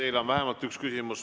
Teile on vähemalt üks küsimus.